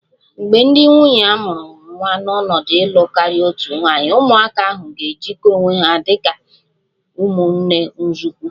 Mgbe ndị nwunye a mụrụ nwa n'ọnọdụ ịlụ karịa otu nwaanyị, ụmụaka ahụ ga-ejikọta onwe ha dị ka ụmụnne nzọụkwụ